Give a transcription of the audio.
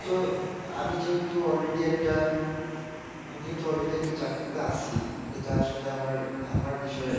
আমি তো, আমি যেহেতু all ready একটা, আমি যেহেতু all ready একটা চাকরিতে আছি, এটা আসলে আমার বিষয়ের,